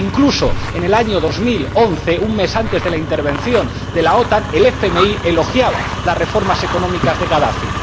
Incluso, en el año 2011, un mes antes de la intervención de la OTAN, el FMI elogiaba las reformas económicas de Gadafi.